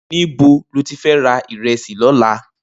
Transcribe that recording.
Nibò ló ti fè rà irèsí lòlá?